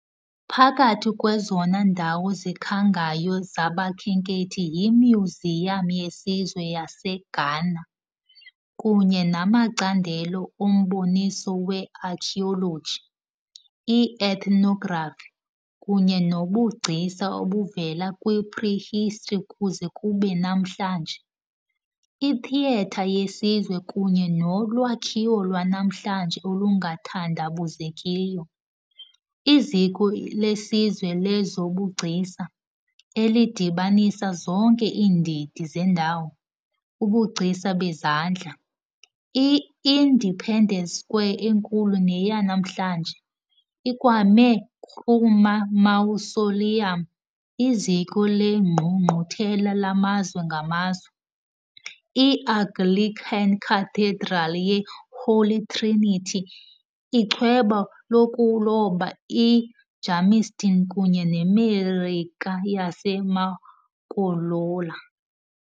Phakathi kwezona ndawo zikhangayo zabakhenkethi yiMyuziyam yeSizwe yaseGhana kunye namacandelo omboniso we-archeology, i-ethnography kunye nobugcisa obuvela kwi -prehistory kuze kube namhlanje, iTheatre yeSizwe kunye nolwakhiwo lwanamhlanje olungathandabuzekiyo, iZiko leSizwe lezoBugcisa elidibanisa zonke iindidi zendawo. Ubugcisa bezandla, i-Independence Square enkulu neyanamhlanje, iKwame Nkrumah Mausoleum, iZiko leNgqungquthela lamazwe ngamazwe, iAnglican Cathedral ye-Holy Trinity, ichweba lokuloba e-Jamestown kunye neMarike yaseMakolola.